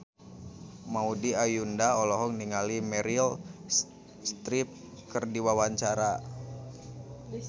Maudy Ayunda olohok ningali Meryl Streep keur diwawancara